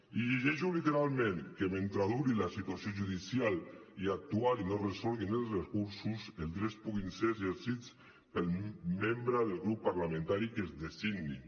i llegeixo literalment que mentre duri la situació judicial i actual i no es resolguin els recursos els drets puguin ser exercits pels membres del grup parlamentari que es designin